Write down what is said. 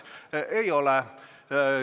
Teil seda ei ole.